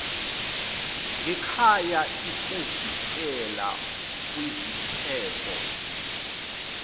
ngekhaya ikuvikela kwiziphepho